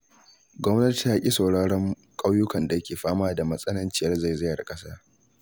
Gwamnati ta ƙi sauraron ƙauyukan da suke fama da matsannaciyar zaizayar ƙasa.